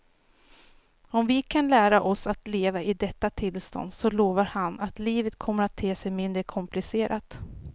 Och om vi kan lära oss att leva i detta tillstånd så lovar han att livet kommer att te sig mindre komplicerat.